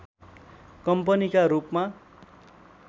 कम्पनीका रूपमा